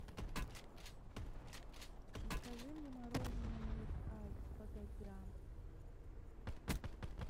закажи мне мороженое милк айс сто пять грамм